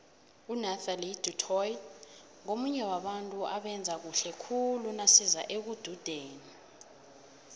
unathelie du toit ngomunye wabantu abayenza khuhle khule naziza ekududeni